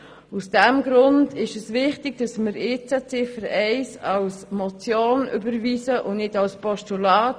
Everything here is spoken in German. Aus diesem Grund ist es wichtig, dass wir Ziffer 1 als Motion überweisen und nicht als Postulat.